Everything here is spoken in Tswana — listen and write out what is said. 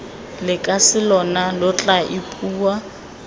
lekase lona lo tla ipua